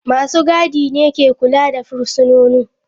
Masu gadi ne ke kula da fursunonin.